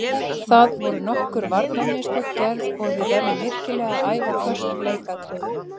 Það voru nokkur varnarmistök gerð og við verðum virkilega að æfa föst leikatriði.